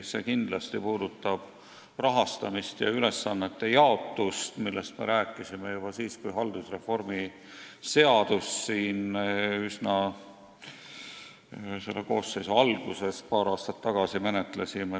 See puudutab kindlasti rahastamist ja ülesannete jaotust, millest me rääkisime juba siis, kui me siin üsna selle koosseisu alguses, paar aastat tagasi haldusreformi seadust menetlesime.